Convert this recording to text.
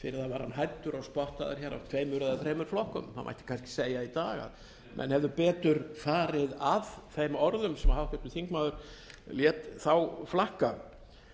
fyrir það var hann hæddur og spottaður af tveimur eða þremur flokkum það mætti kannski segja í dag að menn hefðu betur farið að þeim orðum sem háttvirtur þingmaður lét þá flakka